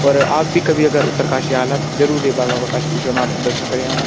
और आप बि अगर कभी उत्तरकाशी आला त जरुर ऐक बार बाबा काशी विश्वनाथ मंदिर कु दर्शन करयाणा।